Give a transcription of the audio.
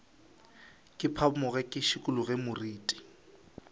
ke phamoge ke šikologe moriti